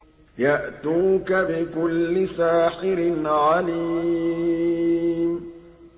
يَأْتُوكَ بِكُلِّ سَاحِرٍ عَلِيمٍ